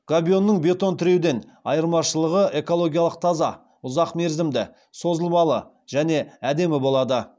габионның бетон тіреуден айырмашылығы экологиялық таза ұзақ мерзімді созылымды және әдемі болады